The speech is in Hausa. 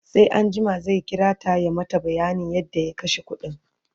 sai anjima zai kirata ya mata bayanin yadda ya kashe ƙuɗin